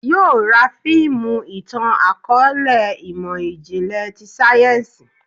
Yóò ra fiimu itan-akọọlẹ imọ-jinlẹ ti sáyẹ́nsì